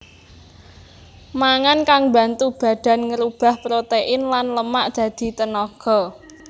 Mangan kang mbantu badan ngrubah protèin lan lemak dadi tenaga